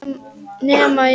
Nema ég.